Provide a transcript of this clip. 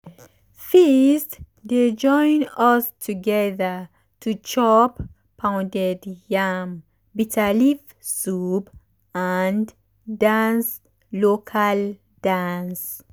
feast dey join us together to chop pounded yam bitterleaf soup and dance local dance.